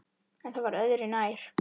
En það var öðru nær!